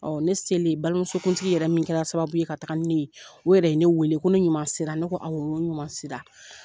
Ne seli balimamuso kuntigi yɛrɛ min kɛra sababu ye ka taga ni ne ye,o yɛrɛ ye ne wele, ko ne ɲuman sera. Ne ko awɔ, n ko n ɲuman sera.